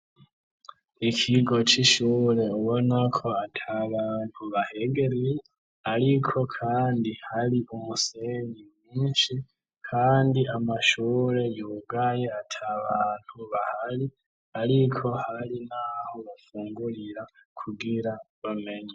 Ikigo c'ishure ubona ko ata bantu bahegereye ariko kandi hari umusenyi mwinshi kandi amashure yugaye ata bantu bahari ariko hari n'aho bafungurira kugira bamenye.